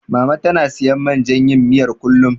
Mama tana siyan man jan yin miyar, kullum.